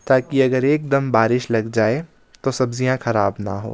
ताकि अगर एकदम बारिश लग जाए तो सब्जियां खराब ना हो।